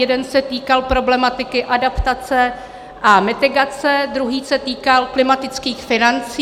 Jeden se týkal problematiky adaptace a mitigace, druhý se týkal klimatických financí.